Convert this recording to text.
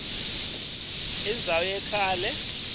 indzaba leyakheke kahle